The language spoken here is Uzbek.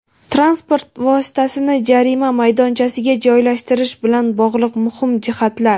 Transport vositasini jarima maydonchasiga joylashtirish bilan bog‘liq muhim jihatlar.